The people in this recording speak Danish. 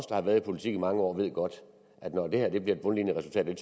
der har været i politik i mange år ved godt at når det her bliver et bundlinjeresultat og